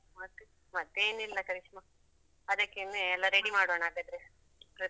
ಮತ್ತೆ? ಮತ್ತೆ ಏನಿಲ್ಲಾ ಕರಿಷ್ಮಾ, ಅದಕ್ಕೆನೆ ಎಲ್ಲಾ ready ಮಾಡೋಣ ಹಾಗಾದ್ರೆ trip.